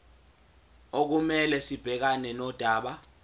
okumele sibhekane nodaba